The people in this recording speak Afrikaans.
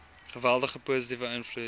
geweldige positiewe invloed